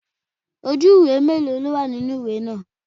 Ojú ìwé mélòó ló wà nínú ìwé náà?